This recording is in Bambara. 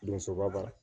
Donsoba